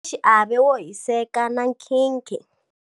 Mutekaxiave wo hiseka na nkhinkhi.